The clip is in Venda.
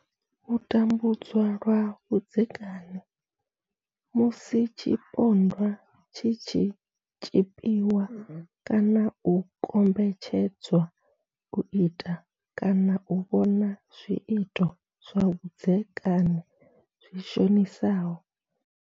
U tambudzwa lwa vhudzekani musi tshipondwa tshi tshi tshipiwa kana u kombetshed zwa u ita kana u vhona zwiito zwa vhudzekani zwi shonisaho.